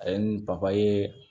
A ye nin papaye